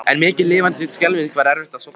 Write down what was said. En mikið lifandis skelfing var erfitt að sofna.